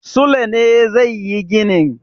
Sule ne zai yi ginin.